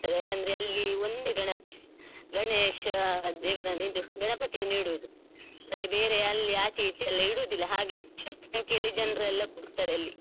ಯಾಕಂದ್ರೆ ಅಲ್ಲಿಒಂದೇ ಗಣಪತಿ ಗಣೇಶ ಆ ದೇವರನ್ನಿದು ಇದು ಗಣಪತಿಯನ್ನಿಡುದು ಮತ್ತೆ ಬೇರೆ ಅಲ್ಲಿಆಚೆ ಈಚೆ ಎಲ್ಲ ಇಡೋದಿಲ್ಲ ಹಾಗೆ ಹೆಚ್ಚಿನ ಜನ ಸಂಖ್ಯೆ ಅಲ್ಲಿ ಜನರೆಲ್ಲ ಕೂಡ್ತಾರೆ ಅಲ್ಲಿ.